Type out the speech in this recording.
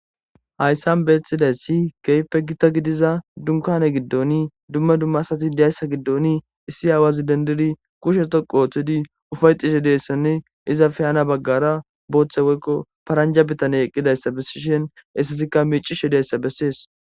Hayssan bettizayssi kehippe giita giddida dunkanne giidon dumma dumma asati kushshe dhoqqu oththidi ufaettishe dizassanne izetappe hano baggera booththa paranjja adey dizayssanne ettika miccishe dizayssa besess.